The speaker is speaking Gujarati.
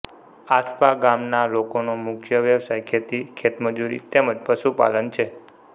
આસ્પા ગામના લોકોનો મુખ્ય વ્યવસાય ખેતી ખેતમજૂરી તેમ જ પશુપાલન છે